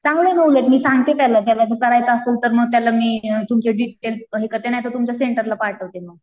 चांगलं मी सांगते त्याला, त्याला जर करायचं असेल तर मी तुमचे डिटेल हे करते नाहीतर मग तुमच्या सेंटरला पाठवते मग.